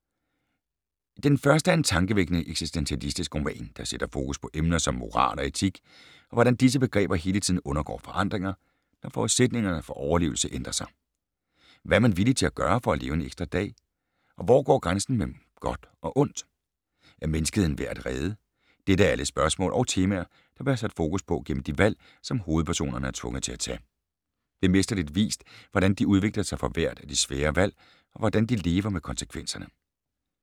Den første er en tankevækkende eksistentialistisk roman, der sætter fokus på emner som moral og etik, og hvordan disse begreber hele tiden undergår forandringer, når forudsætningerne for overlevelse ændrer sig. Hvad er man villig til at gøre for at leve en ekstra dag? Og hvor går grænsen mellem godt og ondt? Er menneskeheden værd at redde? Dette er alle spørgsmål og temaer, der bliver sat fokus på gennem de valg, som hovedpersonerne er tvunget til at tage. Det er mesterligt vist, hvordan de udvikler sig for hvert af de svære valg, og hvordan de lever med konsekvenserne.